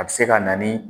A bɛ se ka na ni